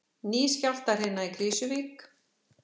Ný skjálftahrina í Krýsuvík